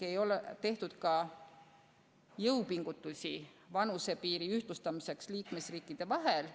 Ei ole tehtud jõupingutusi vanusepiiri ühtlustamiseks liikmesriikide vahel.